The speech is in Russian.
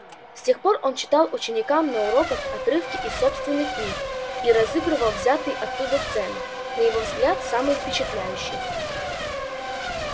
с тех пор он читал ученикам на уроках отрывки из собственных книг или разыгрывал взятые оттуда сцены на его взгляд самые впечатляющие